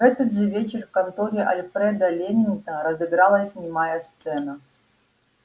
в этот же вечер в конторе альфреда лэннинга разыгралась немая сцена